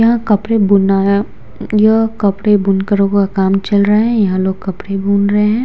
यहाँ कपड़े बुनना है यह कपड़े बुन कर हुआ काम चल रहा है यहाँ लोग कपड़े बुन रहे हैं।